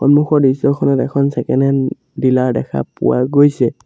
সন্মুখৰ দৃশ্যখনত এখন চেকেনহেন্ড ডিলাৰ দেখা পোৱা গৈছে।